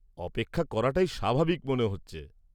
-অপেক্ষা করাটাই স্বাভাবিক মনে হচ্ছে।